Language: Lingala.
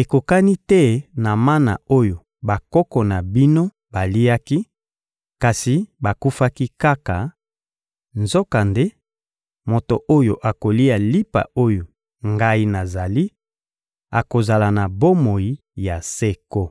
ekokani te na mana oyo bakoko na bino baliaki, kasi bakufaki kaka; nzokande, moto oyo akolia lipa oyo Ngai nazali akozala na bomoi ya seko.